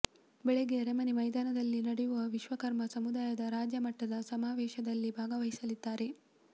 ಬೆಳಿಗ್ಗೆ ಅರಮನೆ ಮೈದಾನದಲ್ಲಿ ನಡೆಯುವ ವಿಶ್ವಕರ್ಮ ಸಮುದಾಯದ ರಾಜ್ಯ ಮಟ್ಟದ ಸಮಾವೇಶದಲ್ಲಿ ಭಾಗವಹಿಸಲಿದ್ದಾರೆ